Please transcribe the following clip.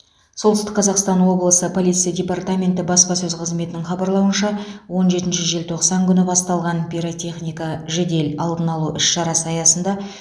солтүстік қазақстан облысы полиция департаменті баспасөз қызметінің хабарлауынша он жетінші желтоқсан күні басталған пиротехника жедел алдын алу іс шарасы аясында